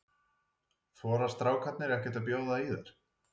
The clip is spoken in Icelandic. Þora strákarnir ekkert að bjóða í þær?